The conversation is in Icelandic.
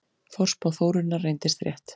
Forspá Þórunnar reyndist rétt.